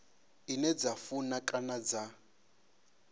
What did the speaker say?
ine dza funa kana dza